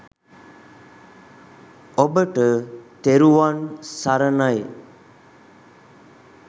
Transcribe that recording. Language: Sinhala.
ඔබට තෙරුවන් සරණයි